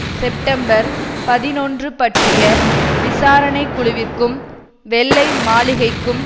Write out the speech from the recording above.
September பதினொன்று பற்றிய விசாரணை குழுவிற்கும் வெள்ளை மாளிகைக்கும்